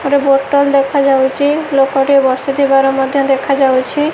ଗୋଟେ ବୋଟଲ ଦେଖାଯାଉଚି ଲୋକ ଟି ବସିଥିବାର ମଧ୍ୟ ଦେଖାଯାଉଛି।